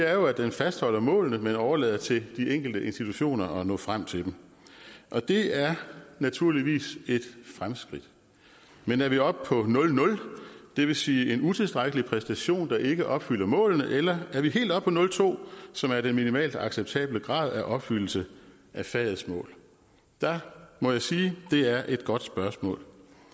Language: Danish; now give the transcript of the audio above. at den fastholder målene men overlader det til de enkelte institutioner at nå frem til dem og det er naturligvis et fremskridt men er vi oppe på nul nul det vil sige en utilstrækkelig præstation der ikke opfylder målene eller er vi helt oppe på nul to som er den minimalt acceptable grad af opfyldelse af fagets mål der må jeg sige det er et godt spørgsmål